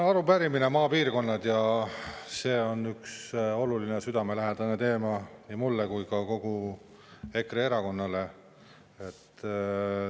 See arupärimine, maapiirkonnad, see on üks oluline ja südamelähedane teema nii mulle kui ka kogu EKRE erakonnale.